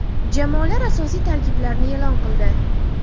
Jamoalar asosiy tarkiblarni e’lon qildi.